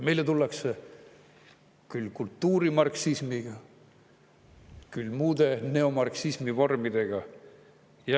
Meile tullakse siia küll kultuurimarksismiga, küll muude neomarksismi vormidega.